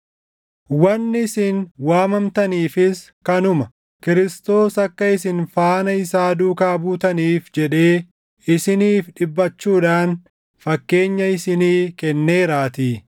Wanni isin waamamtaniifis kanuma. Kiristoos akka isin faana isaa duukaa buutaniif jedhee isiniif dhiphachuudhaan fakkeenya isinii kenneeraatii.